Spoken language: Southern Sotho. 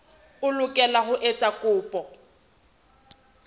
o lokela ho etsa kopo